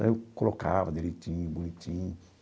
Aí eu colocava direitinho, bonitinho.